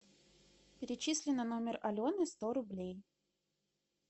перечисли на номер алены сто рублей